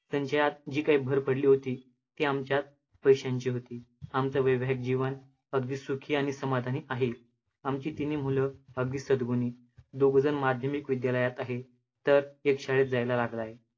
त्यांच्यात जी काय भर पडली होती, ती आमच्या पैशांची होती. आमचं वैवाहिक जीवन अगदी सुखी आणि समाधानी आहे. आमची तिन्ही मुलं अगदी सद्गुणी, दोघंजण माध्यमिक विद्यालयात आहे, तर एक शाळेत जायला लागला आहे.